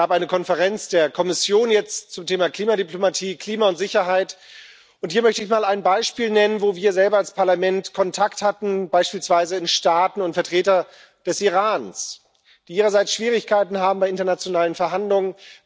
Es gab jetzt eine Konferenz der Kommission zum Thema Klimadiplomatie, Klima und Sicherheit, und hier möchte ich mal ein Beispiel nennen, wo wir selber als Parlament Kontakt hatten, beispielsweise in Staaten und zu Vertretern des Irans, die ihrerseits Schwierigkeiten haben bei internationalen Verhandlungen.